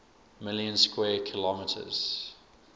million square kilometers